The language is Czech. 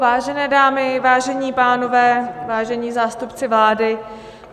Vážené dámy, vážení pánové, vážení zástupci vlády.